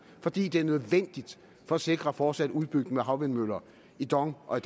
fordi det er nødvendigt for at sikre fortsat udbygning med havvindmøller i dong og